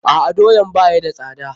A'a, doyaan ba ya da sada.